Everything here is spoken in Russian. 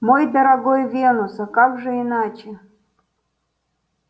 мой дорогой венус а как же иначе